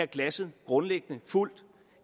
glasset grundlæggende fuldt